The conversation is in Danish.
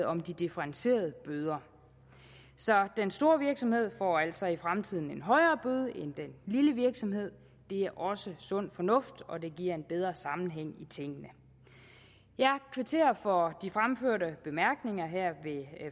om de differentierede bøder så den store virksomhed får altså i fremtiden en højere bøde end den lille virksomhed det er også sund fornuft og det giver en bedre sammenhæng i tingene jeg kvitterer for de fremførte bemærkninger her ved